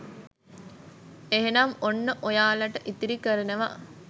එහෙනම් ඔන්න ඔයාලට ඉතිරි කරනවා